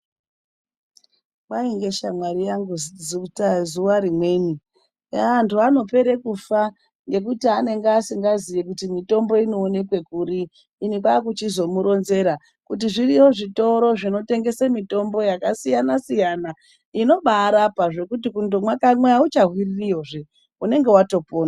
Kwai ngeshamwari yangu zuwa rimweni "vanhu vanopera kufa ngekuti anenge asingaziyi kuti mitombo inoonekwa kuri", ini kwakuchizomuronzera kuti "zviriyo zvitoro zvinotengesa mitombo yakasiyana siyana inobarapa zvekuti kundomwa kamwe auchahwiririyozve unenge watopona".